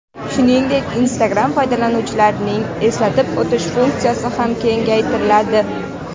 Shuningdek, Instagram foydalanuvchilarining eslatib o‘tish funksiyasi ham kengaytiriladi.